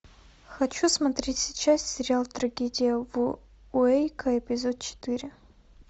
хочу смотреть сейчас сериал трагедия в уэйко эпизод четыре